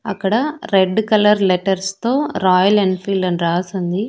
అక్కడ red colour letters తో Royal Enfield అని రాసి ఉంది.